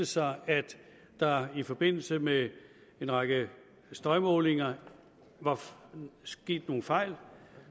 sig at der i forbindelse med en række støjmålinger var sket nogle fejl